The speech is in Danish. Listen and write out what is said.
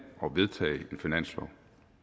og vedtage en finanslov